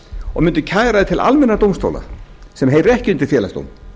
og mundi kæra það til almennra dómstóla sem heyra ekki undir félagsdóm